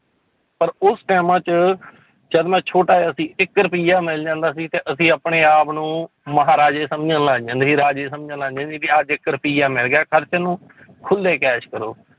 ਪਰ ਉਸ ਟਾਇਮਾਂ 'ਚ ਜਦ ਮੈਂ ਛੋਟਾ ਜਿਹਾ ਸੀ ਇੱਕ ਰੁਪਈਆ ਮਿਲ ਜਾਂਦਾ ਸੀ ਤੇ ਅਸੀਂ ਆਪਣੇ ਆਪ ਨੂੰ ਮਹਾਰਾਜੇ ਸਮਝਣ ਲੱਗ ਜਾਂਦੇ ਸੀ, ਰਾਜੇ ਸਮਝਣ ਲੱਗ ਜਾਂਦੇ ਸੀ ਕਿ ਅੱਜ ਇੱਕ ਰੁਪਈਆ ਮਿਲ ਗਿਆ ਖ਼ਰਚਣ ਨੂੰ ਖੁੱਲੇ ਕੈਸ ਕਰੋ